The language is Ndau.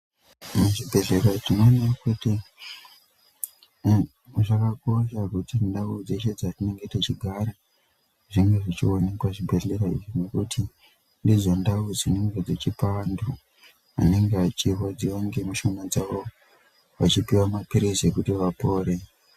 Muzvibhedhlera tinoona kuti zvakakosha kuti ndau dzeshe dzatinenge techigara zvenge zvechionekwa zvibhedhleya izvi nekuti nezvendau dzinenge dzechipa vantu vanenge veirwadziwa nemushonga dzawo vachipiwa mapirizi ekuti vapore